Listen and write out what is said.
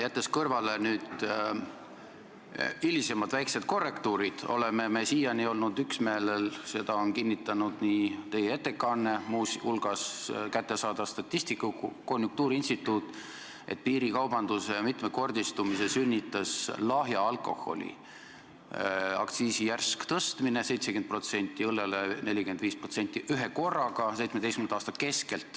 Jättes kõrvale hilisemad väiksed korrektuurid, oleme siiani olnud ühel meelel – seda on kinnitanud teie ettekanne, konjunktuuriinstituut ja mitmelt poolt mujalt kättesaadav statistika –, et piirikaubanduse mitmekordistumise sünnitas 2017. aasta keskel lahja alkoholi aktsiisi järsk tõstmine 70% ja õllel 45%.